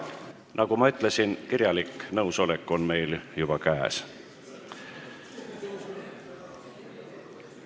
Nagu ma ütlesin, on meil kirjalik nõusolek juba käes.